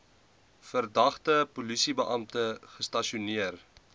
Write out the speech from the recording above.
verdagte polisiebeampte gestasioneer